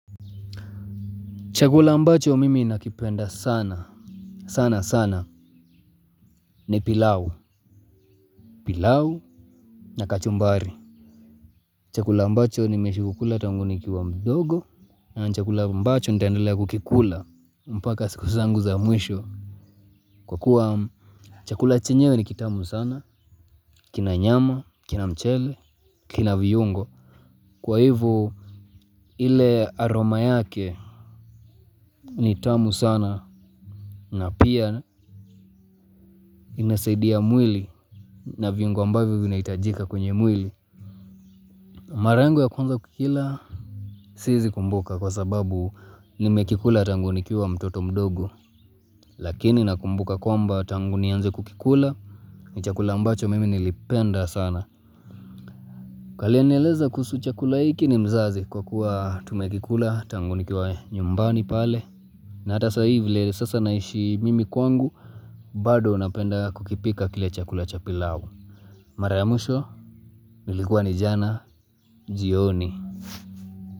Chakula ambacho mimi nakipenda sana, sana, sana, ni pilau, pilau na kachumbari. Chakula ambacho nimeishi kukula tangu nikiwa mdogo, na chakula ambacho nitandelea kukikula, mpaka siku zangu za mwisho. Kwa kuwa, chakula chenyewe ni kitamu sana, kina nyama, kina mchele, kina viyungo. Kwa hivo ile aroma yake ni tamu sana na pia inasaidia mwili na viungo ambavyo vina hitajika kwenye mwili. Mara yangu ya kwanza kukila, siwezi kumbuka kwa sababu nimekila tangu nikiwa mtoto mdogo. Lakini nakumbuka kwamba, tangu nianze kukikula ni chakula mbacho mimi nilipenda sana. Aliyenieleza kuhusu chakula hiki ni mzazi, kwa kuwa tumekikula tangu nikiwa nyumbani pale. Na hata saa hii vile sasa naishi mimi kwangu, bado unapenda kukipika kile chakula cha pilau. Mara ya mwisho, ilikuwa ni jana, jioni.